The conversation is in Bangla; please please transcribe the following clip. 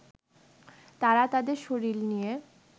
তারা তাদের শরীর নিয়ে